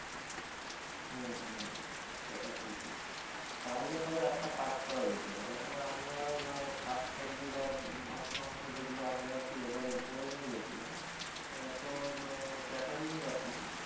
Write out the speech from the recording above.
হম হম সেটা ঠিকই তাহলে পরে একটা কাজ করা যেতে পারে মানে আমরা শাক সবজি বা মাছ-মাংস যেগুলো আমরা কি এবারে বয়ে নিয়ে গেছিলাম আহ তো catering যখন